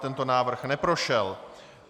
Tento návrh neprošel.